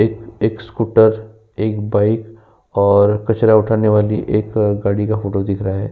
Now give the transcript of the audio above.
एक स्कूटर एक बाइक और कचरा उठाने वाली एक गाड़ी का फोटो दिख रहा है।